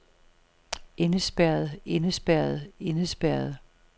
indespærret indespærret indespærret